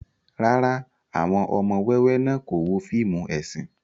Rárá, awọn ọmọ wẹwẹ náa ko wo fiimu esin